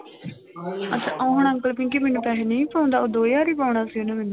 ਅੱਛਾ ਆਉਣ ਅੰਕਲ ਕਿਉਂਕਿ ਮੈਨੂੰ ਪੈਸੇ ਨਹੀਂ ਪਾਉਂਦਾ ਉਹ ਦੋ ਹਜ਼ਾਰ ਹੀ ਪਾਉਣਾ ਸੀ ਉਹਨੇ ਮੈਨੂੰ।